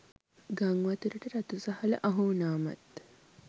ගංවතුරටත් රතු සහල අහුවුණාමත්